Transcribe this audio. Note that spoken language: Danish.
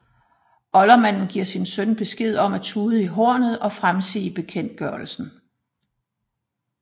Oldermanden giver sin søn besked om at tude i hornet og fremsige bekendtgørelsen